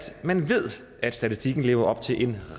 man ved at statistikken lever op til en